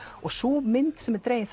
og sú mynd sem dregin